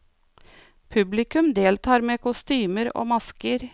Publikum deltar med kostymer og masker.